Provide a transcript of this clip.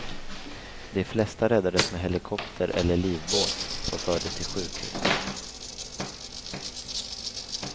De flesta räddades med helikopter eller livbåt och fördes till sjukhus.